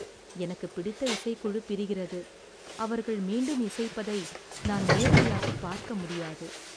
எனக்குப் பிடித்த இசைக்குழு பிரிகிறது, அவர்கள் மீண்டும் இசைப்பதை நான் நேரடியாகப் பார்க்க முடியாது.